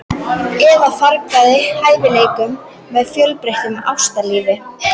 Eða fargað hæfileikanum með of fjölbreyttu ástalífi?